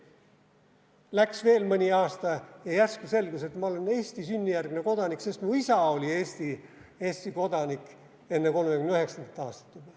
Läks veel mõni aasta ja järsku selgus, et ma olen Eesti sünnijärgne kodanik, sest mu isa oli Eesti kodanik juba enne 1939. aastat.